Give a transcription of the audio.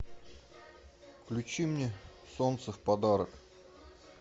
включи мне солнце в подарок